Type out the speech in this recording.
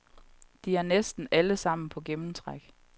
De er næsten allesammen på gennemtræk.